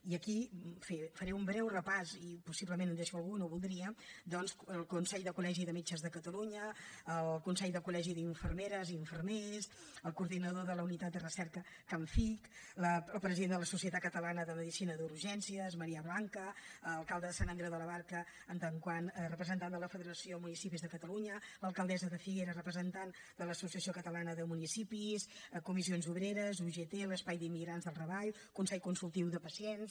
i aquí en fi en faré un breu repàs i possiblement em deixaré algú no ho voldria el consell de col·legis de metges de catalunya el consell de col·legis d’infermeres i infermers el coordinador de la unitat de recerca camfic el president de la societat catalana de medicina d’urgències marea blanca l’alcalde de sant andreu de la barca en tant que representant de la federació de municipis de catalunya l’alcaldessa de figueres representant de l’associació catalana de municipis comissions obreres ugt l’espai d’immigrants del raval i el consell consultiu de pacients